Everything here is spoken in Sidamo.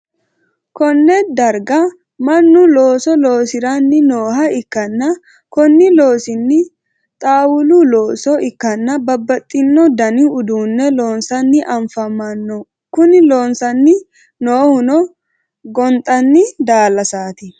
konne darga mannu looso loosiranni nooha ikkanna, kuni loosino xaawulu loosa ikkanna, babbaxxino dani uduunne loosanni afamanno, kuni loosanni noohuno gonxanni daalasaati.